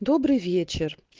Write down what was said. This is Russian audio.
добрый вечер